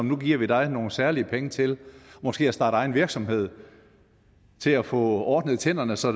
nu giver vi dig nogle særlige penge til måske at starte egen virksomhed til at få ordnet tænderne så